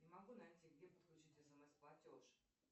не могу найти где подключить смс платеж